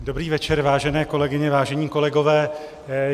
Dobrý večer, vážené kolegyně, vážení kolegové.